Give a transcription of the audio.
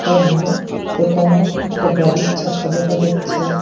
এবং একানে একটা গাড়ির চাকা দেখা যাচ্ছে।